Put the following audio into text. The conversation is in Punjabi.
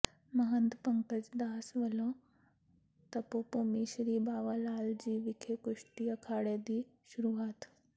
ਮਹੰਤ ਪੰਕਜ਼ ਦਾਸ ਵੱਲੋਂ ਤਪੋ ਭੂਮੀ ਸ੍ਰੀ ਬਾਵਾ ਲਾਲ ਜੀ ਵਿਖੇ ਕੁਸ਼ਤੀ ਅਖਾੜੇ ਦੀ ਸ਼ੁਰੂਆਤ